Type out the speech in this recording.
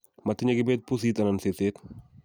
matinye kibet pusit anan seset